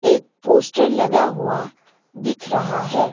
एक पोस्टर लगा हुआ दिख रहा है।